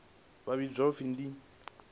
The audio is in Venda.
vha vhidzwa u pfi ndi